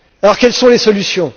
Quelles sont les solutions?